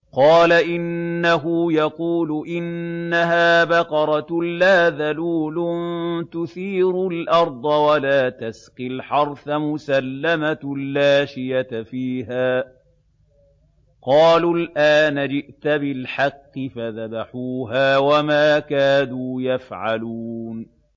قَالَ إِنَّهُ يَقُولُ إِنَّهَا بَقَرَةٌ لَّا ذَلُولٌ تُثِيرُ الْأَرْضَ وَلَا تَسْقِي الْحَرْثَ مُسَلَّمَةٌ لَّا شِيَةَ فِيهَا ۚ قَالُوا الْآنَ جِئْتَ بِالْحَقِّ ۚ فَذَبَحُوهَا وَمَا كَادُوا يَفْعَلُونَ